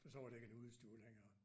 For så var det ikke en udestue længere